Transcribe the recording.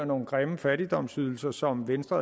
nogle grimme fattigdomsydelser som venstre